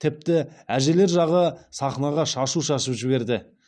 тіпті әжелер жағы сахнаға шашу шашып жіберді